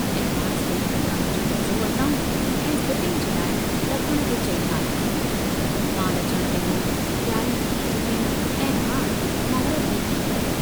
Advance डेई दुकान जो कब्ज़ो वरताऊं ऐं फिटिंग जी लाइ डखण खे चई आया, माल अचण लगो तियारियूं थी चुकियूं ऐं हाण महूर्त बि थी वियो।